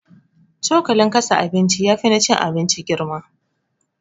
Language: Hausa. Cokalin kasa abinci yafi na cin abinci girma